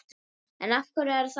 En af hverju er það?